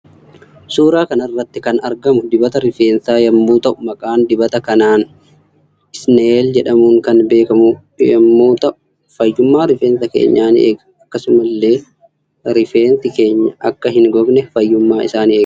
Suuraa kanarratti kan argamu dibata rifeensaa yommuu ta'u maqaan dibata kanaan isneel jedhamuun kan beekamu yommuu ta'uu fayyuma rifeensa keenya ni eega akkasumas ille rifeensi keenyi Akka hin gogne fayyuma isaa ni eega.